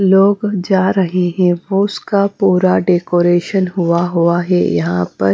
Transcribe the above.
लोग जा रहे हैं बस का पूरा डेकोरेशन हुआ हुआ है यहां पर--